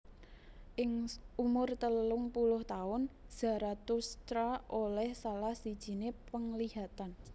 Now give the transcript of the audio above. Ing umur telung puluh taun Zarathustra oleh salah sijiné penglihatan